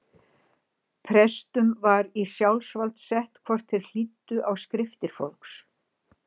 Prestum var í sjálfsvald sett hvort þeir hlýddu á skriftir fólks.